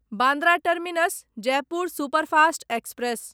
Bandra terminus Jaipur superfast express